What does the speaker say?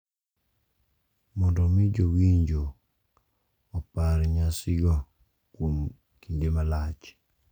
Mondo omi jowinjo opar nyasino kuom kinde malach.